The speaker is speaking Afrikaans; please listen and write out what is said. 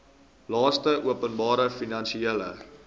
laste openbare finansiële